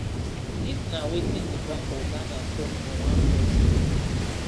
dis na wetin di bank of ghana tok for one press release